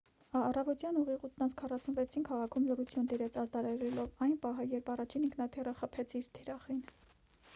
առավոտյան ուղիղ 8:46-ին քաղաքում լռություն տիրեց՝ ազդարարելով այն պահը երբ առաջին ինքնաթիռը խփեց իր թիրախին: